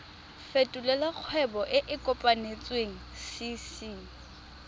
fetolela kgwebo e e kopetswengcc